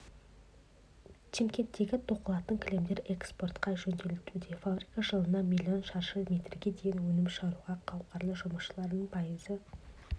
шымкенттегі тоқылатын кілемдер эспортқа жөнелтілуде фабрика жылына млн шаршы метрге дейін өнім шығаруға қауқарлы жұмысшылардың пайызы